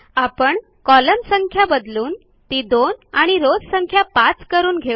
आपण कॉलम्न्स संख्या बदलून ती 2 आणि रॉव्स संख्या 5 करून घेऊ